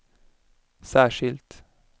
särskilt